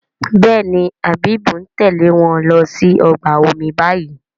Béèni Habib ń Tèlé wón ló sì ọgbà omi bayí.